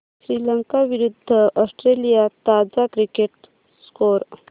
श्रीलंका विरूद्ध ऑस्ट्रेलिया ताजा cricket score